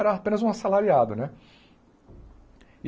Era apenas um assalariado, né?